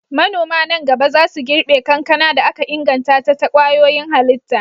Manoma nan gaba za su girbe kankana da aka inganta ta kwayoyin halitta.